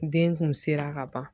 Den kun sera ka ban